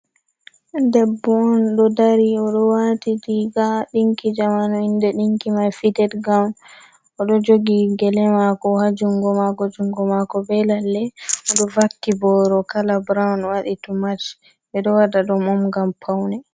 Debbo on ɗo dari oɗo wati riga dinki zamanu inde dinki mai fitted gawn, oɗo ɓo gele jogi gele mako ha jungo mako, jungo mako be lalle oɗo vakki boro kala brown wadi to mach ɓe ɗo wada dum om ngam paune.